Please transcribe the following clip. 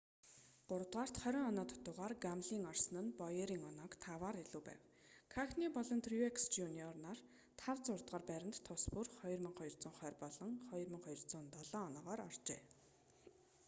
гуравдугаарт 20 оноо дутуугаар гамлин орсон нь боерийн онооноос таваар илүү байна кахне болон трюекс жр нар тав зургаадугаар байранд тус бүр 2,220 болон 2,207 оноогоор оржээ